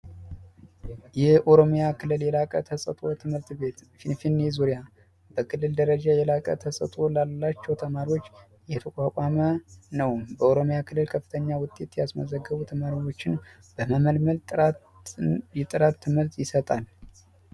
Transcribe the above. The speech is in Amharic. የኦሮሚያ ክልል ተጽፏል ትምህርት ቤት ዙሪያ ደረጃ የላቀ ተሰጡላቸው ተማሪዎች የተቋቋመ በኦሮሚያ ክልል ከፍተኛ ውጤት ያስመዘግቡ ተማሪዎችን ጥራት የጥራት ትምህርት ይሰጣል